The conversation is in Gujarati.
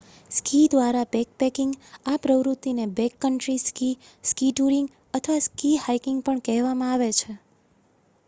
સ્કી દ્વારા બેકપેકિંગ આ પ્રવૃત્તિને બેકકન્ટ્રી સ્કી સ્કી ટૂરિંગ અથવા સ્કી હાઇકિંગ પણ કહેવામાં આવે છે